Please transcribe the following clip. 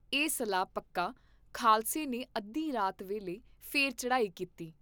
ਇਹ ਸਲਾਹ ਪਕਾ, ਖਾਲਸੇ ਨੇ ਅੱਧੀ ਰਾਤ ਵੇਲੇ ਫੇਰ ਚੜ੍ਹਾਈ ਕੀਤੀ।